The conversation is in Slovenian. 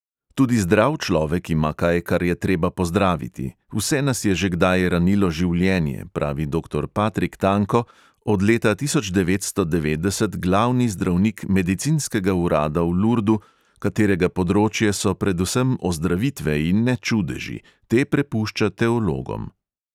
Tudi zdrav človek ima kaj, kar je treba pozdraviti, vse nas je že kdaj ranilo življenje, pravi doktor patrik tanko, od leta tisoč devetsto devetdeset glavni zdravnik medicinskega urada v lurdu, katerega področje so predvsem ozdravitve in ne čudeži, te prepušča teologom.